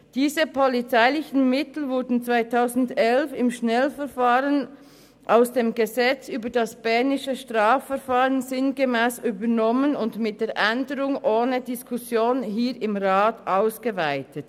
Diese polizeilichen Mittel wurden 2011 im Schnellverfahren aus dem bernischen Gesetz über das Strafverfahren(StrV) sinngemäss übernommen und mit der Änderung ohne Diskussion hier im Rat ausgeweitet;